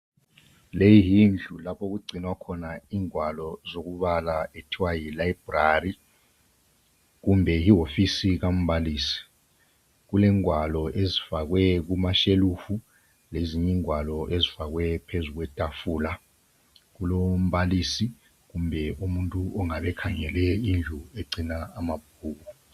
leyi yindlu lapho okugcinwa khona ingwalo zokubala okuthwa yi Library kumbe yiwofisi kambalisi kulengwalo ezifakwe kumashelufu lezinye ingwalo ezifakwe phezu kwetafula kulombalisi kumbe umuntu ongabe ekhangele indlu egcina amabhuku